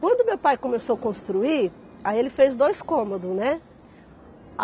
Quando meu pai começou a construir, aí ele fez dois cômodos, né?